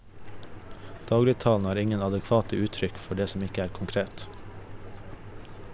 Dagligtalen har ingen adekvate uttrykk for det som ikke er konkret.